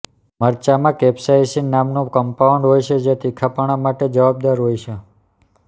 મરચાંમાં capsaicin નામનું compound હોય છે જે તીખાપણા માટે જવાબદાર હોય છે